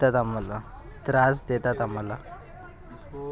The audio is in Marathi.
त्रास देतात आम्हाला.